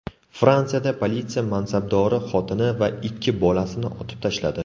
Fransiyada politsiya mansabdori xotini va ikki bolasini otib tashladi.